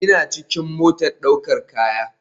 ina cikin motar daukar kaya